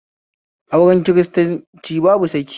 Aure kiristanci babu saki